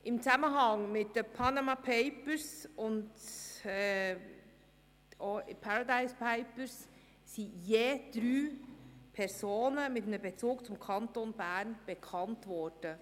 Im Zusammenhang mit den «Panama Papers» und auch den «Paradise Papers» sind je drei Personen mit einem Bezug zum Kanton Bern bekannt geworden.